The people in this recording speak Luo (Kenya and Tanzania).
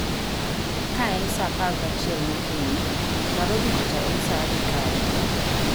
Kaen sa apar gi achiel mokinyi narobi kocha en sa adi kae